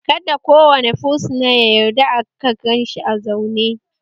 Kada kowane fursuna ya yarda aka ganshi a zaune!